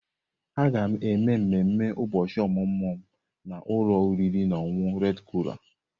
Aga m eme ememe ụbọchị ọmụmụ m na ụlọ oriri na ọṅụṅụ Redi koral.